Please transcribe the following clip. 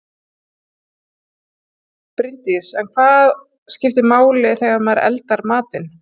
Bryndís: En hvað skiptir máli þegar maður eldar matinn?